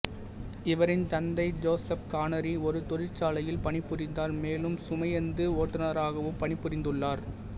இவரின் தந்தை Joseph Connery ஒரு தொழிற்சாலையில் பணிபுரிந்தார் மேலும் சுமையுந்து ஓட்டுநராகவும் பணிபுரிந்துள்ளார்